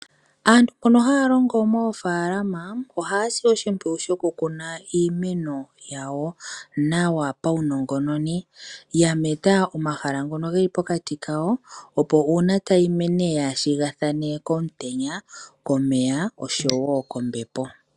Aantu mbono haalongo moofalama ohasi oshipwiyu shoku kuna iimeno yawo nawa pawu nongononi. Yameta omahala ngono geli pokati kayo opo uuna tayi mene kayi shiga thane komutenya, komeya noshowo kombepo